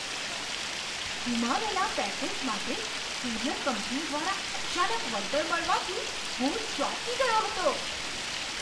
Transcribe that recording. ગુમાવેલા package માટે courier company દ્વારા અચાનક વળતર મળવાથી હું ચોંકી ગયો હતો.